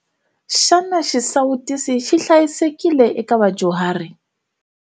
Xana xisawutisi xi hlayisekile eka vadyuhari?